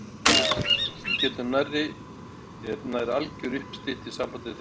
Eins og getur nærri er nær alger uppstytta í sambandi þeirra